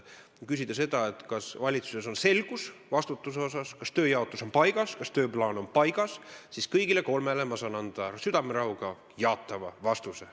Kui küsida, kas valitsuses on selgus vastutuse asjus, kas tööjaotus on paigas, kas tööplaan on paigas, siis kõigile kolmele küsimusele saan ma südamerahuga anda jaatava vastuse.